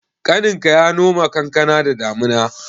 Ƙaninka ya noma kankana da damuna?